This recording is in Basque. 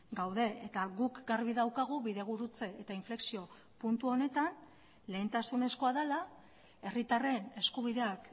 gaude eta guk garbi daukagu bidegurutze eta inflexio puntu honetan lehentasunezkoa dela herritarren eskubideak